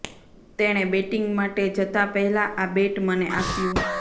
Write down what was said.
તેણે બેટિંગ માટે જતાં પહેલા આ બેટ મને આપ્યું